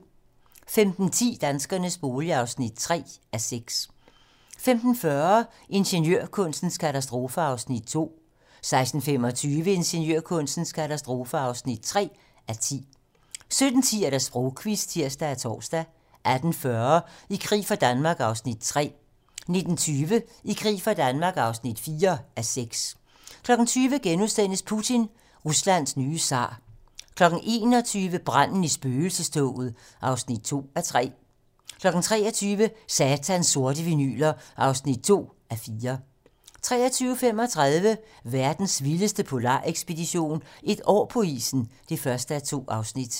15:10: Danskernes bolig (3:6) 15:40: Ingeniørkunstens katastrofer (2:10) 16:25: Ingeniørkunstens katastrofer (3:10) 17:10: Sprogquizzen (tir og tor) 18:40: I krig for Danmark (3:6) 19:20: I krig for Danmark (4:6) 20:00: Putin - Ruslands nye zar * 21:00: Branden i spøgelsestoget (2:3) 23:00: Satans sorte vinyler (2:4) 23:35: Verdens vildeste polarekspedition - Et år på isen (1:2)